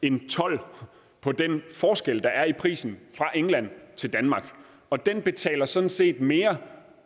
en told på den forskel der er i prisen fra england til danmark og den betaler sådan set mere